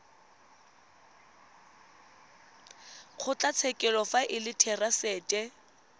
kgotlatshekelo fa e le therasete